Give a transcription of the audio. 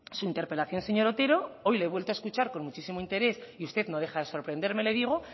su interpelación señor otero hoy le he vuelto a escuchar con muchísimo interés y usted no deja de sorprenderme le digo